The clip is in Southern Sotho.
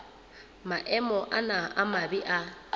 maemo ana a mabe a